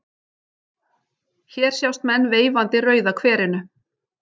Hér sjást menn veifandi Rauða kverinu.